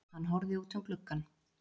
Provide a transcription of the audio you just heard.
Hann horfði út um gluggann.